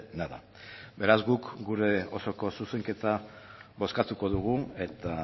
nada beraz guk gure osoko zuzenketa bozkatuko dugu eta